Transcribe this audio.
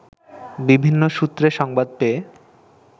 বিভিন্ন সূত্রে সংবাদ পেয়ে